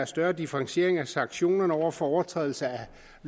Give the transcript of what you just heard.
større differentiering af sanktionerne over for overtrædelse